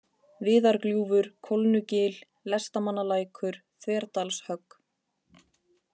Viðargljúfur, Kólnugil, Lestamannalækur, Þverdalshögg